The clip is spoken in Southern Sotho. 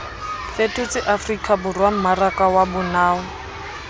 fetotse afrikaborwa mmaraka wa bonao